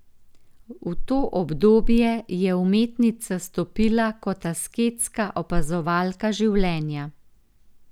V to obdobje je umetnica stopila kot asketska opazovalka življenja.